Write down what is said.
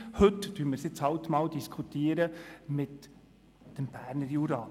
Heute tun wir es halt einmal im Zusammenhang mit dem Berner Jura.